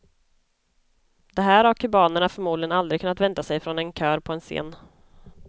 Det här har kubanerna förmodligen aldrig kunnat vänta sig från en kör på en scen.